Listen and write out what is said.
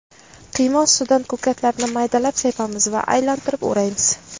Qiyma ustidan ko‘katlarni maydalab sepamiz va aylantirib o‘raymiz.